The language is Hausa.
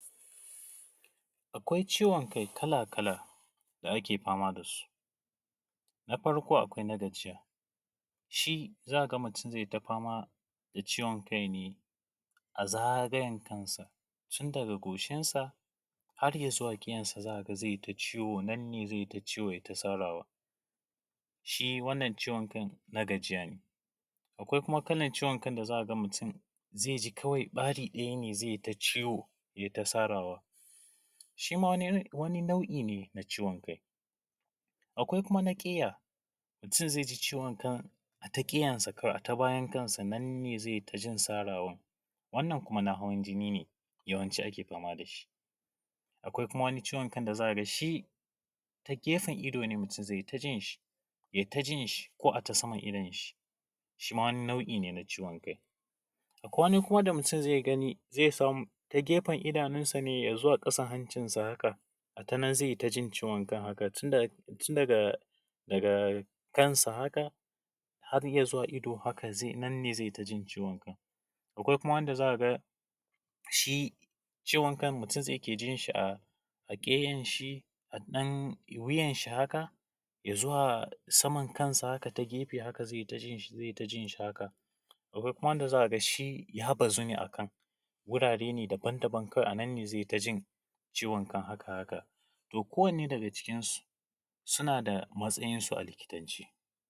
Akwai ciwon kai kala-kala da ake fama da su. Farko akwai na gajiya, shi zaka ga mutum zai ta fama da ciwon kai ne a zagayen kansa, tun daga goshinsa har ya zuwa ƙeyansa. Za ka ga zai ta ciwo ya yi ta sarawa. Shi wannan ciwon kan na gajiya ne. Akwai kuma kalan ciwon kan da za ka ga mutum zai ji kawai ɓari ɗaya ne zai ta ciwo ya yi ta sarawa, shi ma wani nai’i ne na ciwon kai. Akwai kuma na ƙeya, mutum zai ji ciwon a ta bayan kansa ne zai ta jin sarawa, wannan kuma na hawan jini ne yawanci ake fama da shi. Akwai kuma ciwon kan da zaka ga shi ta gefen ido mutum zai ta jin shi, ya yi ta jin shi ko a ta saman idonshi, shi ma wani nau’i ne na ciwon kai. Akwai kuma wanda wani ta gefen idonsa zuwa ƙasan hancinsa haka, a ta nan zai ji ciwon kan, tun daga kansa haka har ya zuwa ido, hakan nan zai ta jin ciwon kai. Akwai kuma wanda zaka ji shi ya bazu ne a kan wurare daba-daban, a nan ne zai ta jin ciwon kan. To kowane daga cikinsu suna da matsayinsu a likitance.